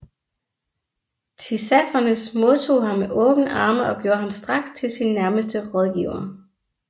Tissafernes modtog ham med åbne arme og gjorde ham straks til sin nærmeste rådgiver